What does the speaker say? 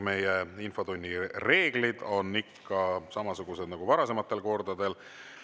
Meie infotunni reeglid on ikka samasugused nagu varasematel kordadel.